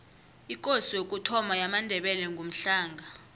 ikosi yokuthoma yamandebele ngumhlanga